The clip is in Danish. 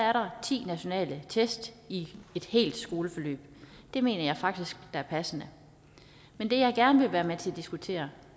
er der ti nationale test i et helt skoleforløb det mener jeg faktisk er passende men det jeg gerne vil være med til at diskutere